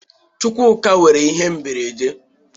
Chukwuka nwụrụ n'ihe mberede.